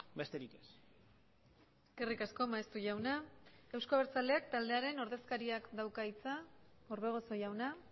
besterik ez eskerrik asko maeztu jauna eusko abertzaleak taldearen ordezkariak dauka hitza orbegozo jauna